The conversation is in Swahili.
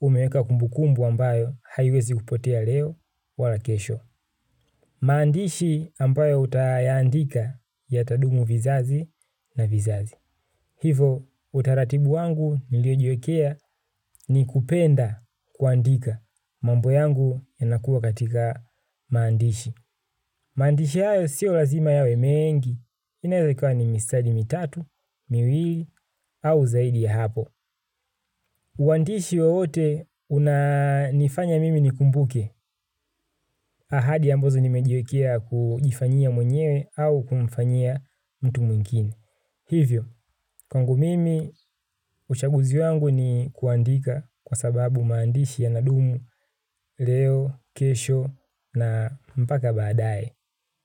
umeweka kumbukumbu ambayo haiwezi kupotea leo wala kesho. Maandishi ambayo utayaandika yatadumu vizazi na vizazi. Hivo utaratibu wangu niliojiekea ni kupenda kuandika mambo yangu yanakua katika maandishi. Maandishi hayo sio lazima yawe mengi, inaeza ikawa ni mistari mitatu, miwili au zaidi ya hapo. Uandishi wowote unanifanya mimi nikumbuke. Ahadi ambazo nimejiwekea kujifanyia mwenyewe au kumfanyia mtu mwingine hivyo, kwangu mimi, uchaguzi wangu ni kuandika kwa sababu maandishi yanadumu leo, kesho na mpaka baadaye.